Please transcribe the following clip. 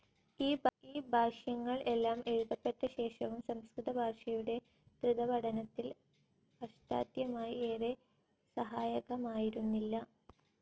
ഈ ഭാഷ്യങ്ങൾ എല്ലാം എഴുതപ്പെട്ടശേഷവും സംസ്കൃതഭാഷയുടെ ധൃതപഠനത്തിൽ അഷ്ടാദ്ധ്യായി ഏറെ സഹായകമായിരുന്നില്ല.